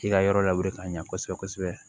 K'i ka yɔrɔ lawuli ka ɲɛ kosɛbɛ kosɛbɛ